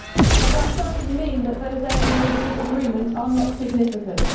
But that does not mean that those areas of disagreement are not significant.